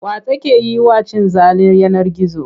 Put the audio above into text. Wa take yi wa cin zalin yanar gizo?